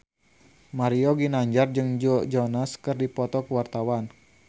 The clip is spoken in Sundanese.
Mario Ginanjar jeung Joe Jonas keur dipoto ku wartawan